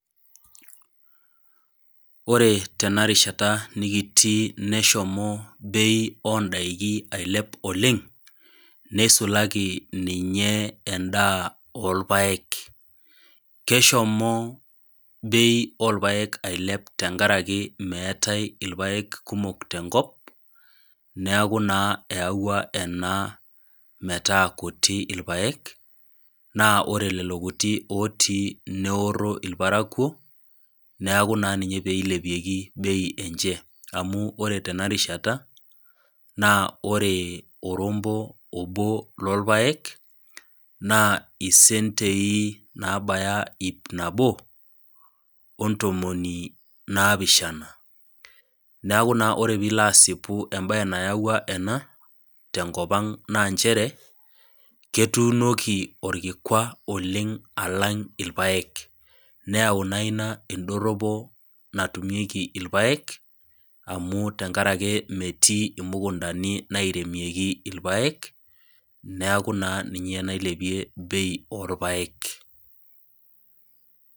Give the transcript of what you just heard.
Ore tena rishata nikitii neshomo bei oo indaiki ailep oleng', neisulaki ninye endaa oolpaek, keshomo bei oo lpaek ailep tenkaraki meatai ilpaek kumok tenkop, neaku naa eyauwa ena naa metaa kuti ilpaek, naa ore lelo kuti neoro ilparakuo, neaku naa ninye peilepieki bei enche, amu ore tena rishata naa ore orombo obo loolpaek, naa isentei naabaya iip nabo, o ntomoni naapishana, neaku ore naa piilo asipu entoki nayaua ena tenkop ang naa nchere ketuunoki olkikwa oleng' alang' ilpaek, neyau naa ina endoropo natumieki ilpaek amu tenkaraki metii imukuntani nairemieki ilpaek, neaku naa ninye nailepie bei olpaek.